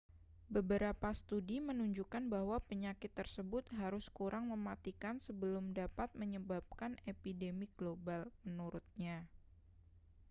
beberapa studi menunjukkan bahwa penyakit tersebut harus kurang mematikan sebelum dapat menyebabkan epidemi global menurutnya